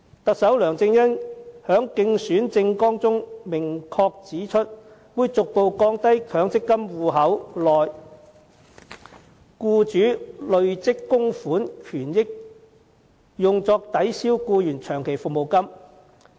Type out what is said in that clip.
特首梁振英在競選政綱中明確指出，會"逐步降低強積金戶口內僱主累積供款權益用作抵銷僱員長期服務金及遣散費的比例"。